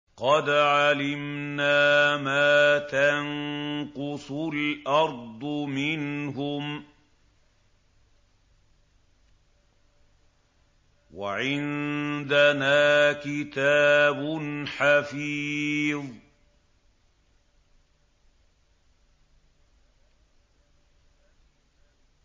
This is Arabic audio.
قَدْ عَلِمْنَا مَا تَنقُصُ الْأَرْضُ مِنْهُمْ ۖ وَعِندَنَا كِتَابٌ حَفِيظٌ